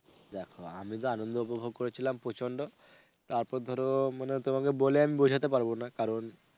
দেখো আমি যা আনন্দ উপভোগ করেছিলাম প্রচন্ড, তারপর ধরো মানে তোমাকে বলে আমি বোঝাতে পারবোনা কারণ,